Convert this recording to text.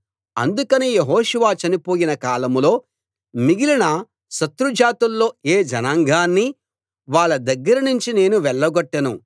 అందుకని యెహోషువ చనిపోయిన కాలంలో మిగిలిన శత్రుజాతుల్లో ఏ జనాంగాన్నీ వాళ్ళ దగ్గర నుంచి నేను వెళ్లగొట్టను